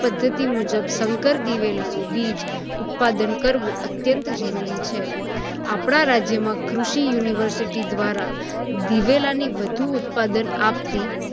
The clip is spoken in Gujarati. પદ્ધતિ મુજબ સંકર દિવેલાનું બીજ ઉત્પાદન કરવું અત્યંત જરુરી છે. આપણા રાજ્યમાં કૃષિ university દ્વારા દિવેલાની વધુ ઉત્પાદન આપતી